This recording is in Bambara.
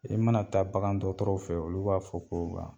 I mana taa bagan dɔgɔtɔrɔw fe ye olu b'a fɔ ko wa